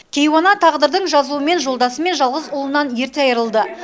кейуана тағдырдың жазуымен жолдасы мен жалғыз ұлынан ерте айырылды